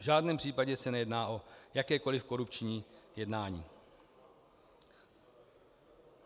V žádném případě se nejedná o jakékoli korupční jednání.